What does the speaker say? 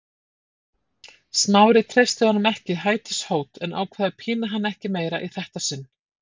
Smári treysti honum ekki hætishót en ákvað að pína hann ekki meira í þetta sinn.